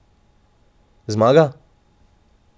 Zmaga?